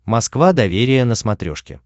москва доверие на смотрешке